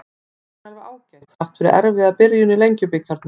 Hún er alveg ágæt, þrátt fyrir erfiða byrjun í Lengjubikarnum.